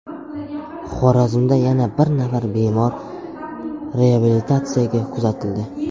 Xorazmda yana bir nafar bemor reabilitatsiyaga kuzatildi.